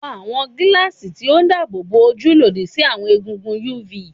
Wọ awọn gilaasi ti o daabobo oju lodi si awọn egungun UV